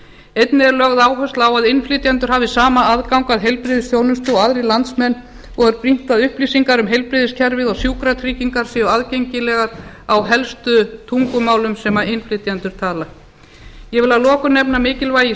einnig er lögð áhersla á að innflytjendur hafi sama aðgang að heilbrigðisþjónustu og aðrir landsmenn og er brýnt að upplýsingar um heilbrigðiskerfið og sjúkratryggingar séu aðgengilegar á helstu tungumálum sem innflytjendur tala ég vil að lokum nefna mikilvægi